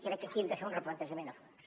crec que aquí hem de fer un replantejament a fons